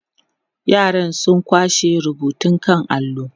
yaran sun kwashe rubutun kan allo